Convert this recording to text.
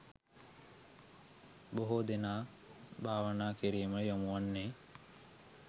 බොහෝ දෙනා භාවනා කිරීමට යොමු වන්නේ